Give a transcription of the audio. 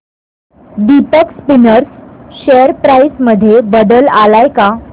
Deepak Spinners share price मध्ये बदल आलाय का